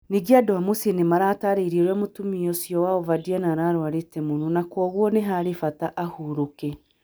Ningĩ andũ a mũciĩ nĩ mataarĩirie ũrĩa mũtumia ũcio wao Verdiana ararũarĩte mũno, na kwoguo nĩ harĩ bata ahurũke.